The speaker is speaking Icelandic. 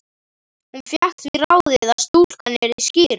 Hún fékk því ráðið að stúlkan yrði skírð